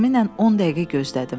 Təxminən 10 dəqiqə gözlədim.